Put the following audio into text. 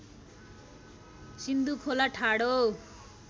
सिन्धु खोला ठाडो